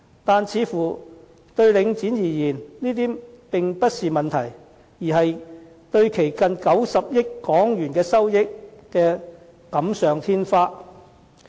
可是，對領展而言，這些似乎並不是問題，而是為其近90億港元收益錦上添花。